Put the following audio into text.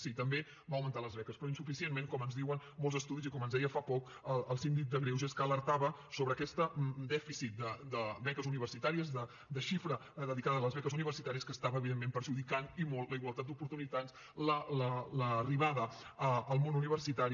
sí també va augmentar les beques però insuficientment com ens diuen molts estudis i com ens deia fa poc el síndic de greuges que alertava sobre aquest dèficit de beques universitàries de xifra dedicada a les beques universitàries que estava evidentment perjudicant i molt la igualtat d’oportunitats l’arribada al món universitari